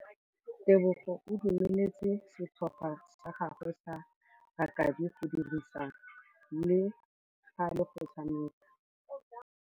Tebogô o dumeletse setlhopha sa gagwe sa rakabi go dirisa le galê go tshameka.